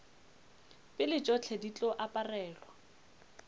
pele tšohle di tlo aparelwa